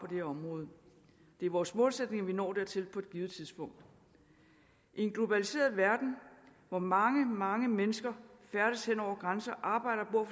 her område det er vores målsætning at vi når dertil på et givet tidspunkt i en globaliseret verden hvor mange mange mennesker færdes hen over grænser og arbejder og